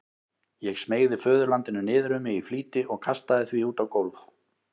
Ég smeygði föðurlandinu niður um mig í flýti og kastaði því út á gólf.